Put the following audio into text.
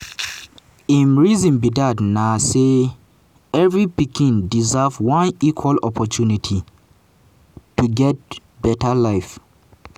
im reason for dat na say every pikin deserve one equal opportunity to get beta life.